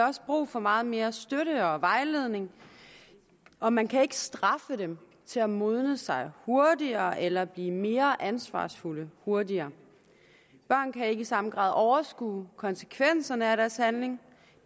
også brug for meget mere støtte og vejledning og man kan ikke straffe dem til at modnes hurtigere eller blive mere ansvarsfulde hurtigere børn kan ikke i samme grad overskue konsekvenserne af deres handlinger